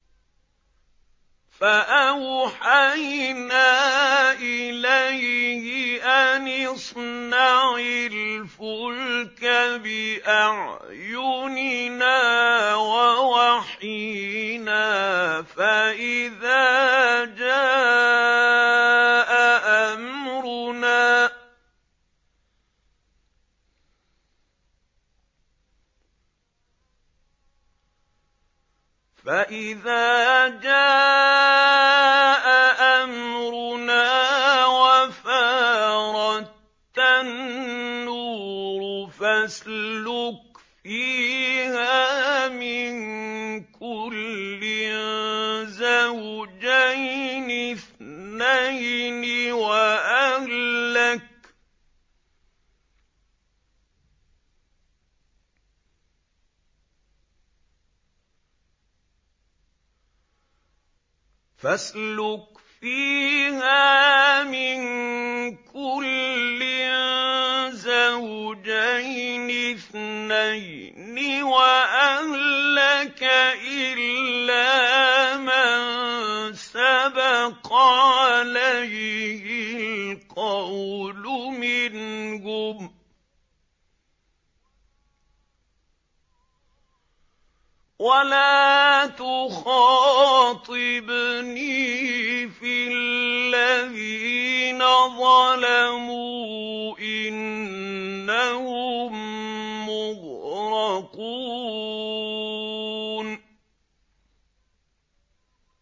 فَأَوْحَيْنَا إِلَيْهِ أَنِ اصْنَعِ الْفُلْكَ بِأَعْيُنِنَا وَوَحْيِنَا فَإِذَا جَاءَ أَمْرُنَا وَفَارَ التَّنُّورُ ۙ فَاسْلُكْ فِيهَا مِن كُلٍّ زَوْجَيْنِ اثْنَيْنِ وَأَهْلَكَ إِلَّا مَن سَبَقَ عَلَيْهِ الْقَوْلُ مِنْهُمْ ۖ وَلَا تُخَاطِبْنِي فِي الَّذِينَ ظَلَمُوا ۖ إِنَّهُم مُّغْرَقُونَ